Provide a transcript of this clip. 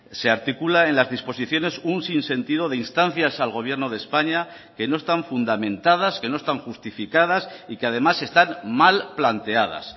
se articula en las disposiciones un sinsentido de instancias al gobierno de españa que no están fundamentadas que no están justificadas y que además están mal planteadas